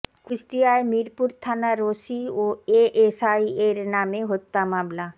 কুষ্টিয়ায় মিরপুর থানার ওসি ও এএসআই এর নামে হত্যা মামলা